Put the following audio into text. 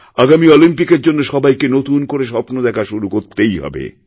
আগামি অলিম্পিকএরজন্য সবাইকে নতুন করে স্বপ্ন দেখা শুরু করতেই হবে